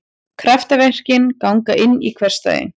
Kraftaverkin ganga inn í hversdaginn.